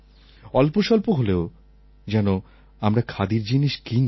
অল্পসল্প হলেও যেন আমরা খাদির জিনিস কিনি